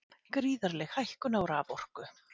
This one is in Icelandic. Gríðarleg hækkun á raforku